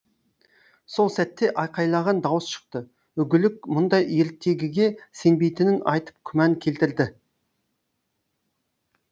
сол сәтте айқайлаған дауыс шықты үгілік мұндай ертегіге сенбейтінін айтып күмән келтірді